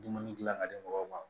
Dumuni dilan ka di mɔgɔw ma